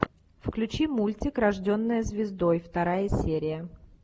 включи мультик рожденная звездой вторая серия